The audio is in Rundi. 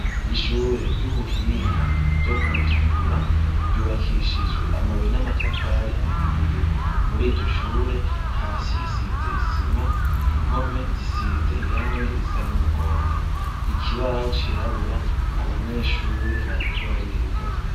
Ishure ryubuhinga ryokumutakura ryubakishijwe amabuye namatafari ahiye muriryoshure hasi hasize isima impome zisize irangi risa numuhondo ikibaho cirabura abanyeshure bariko bariga